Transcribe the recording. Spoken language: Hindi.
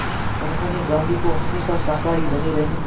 उन्होंने गांधी को हमेशा शाकाहारी बने रहने